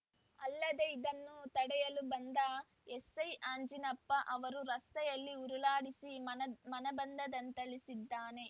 ಅಲ್ಲದೇ ಇದನ್ನು ತಡೆಯಲು ಬಂದ ಎಸ್ ಐ ಅಂಜಿನಪ್ಪ ಅವರನು ರಸ್ತೆಯಲ್ಲಿ ಉರುಳಾಡಿಸಿ ಮನಬಂದಂತೆ ಥಳಿಸಿದ್ದಾನೆ